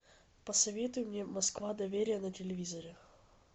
посоветуй мне москва доверие на телевизоре